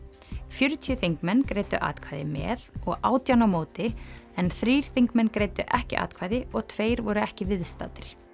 fjörutíu þingmenn greiddu atkvæði með og átján á móti en þrír þingmenn greiddu ekki atkvæði og tveir voru ekki viðstaddir